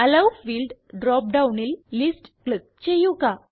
hello field drop ഡൊണിൽ list click ചെയ്യുക